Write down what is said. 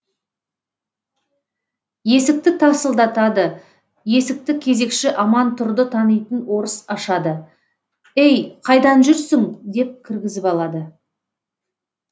есікті тарсылдатады есікті кезекші амантұрды танитын орыс ашады ей қайдан жүрсің деп кіргізіп алады